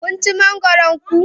Kun ci mangoron ku?